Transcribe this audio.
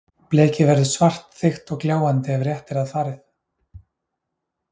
Blekið verður svart, þykkt og gljáandi ef rétt er að farið.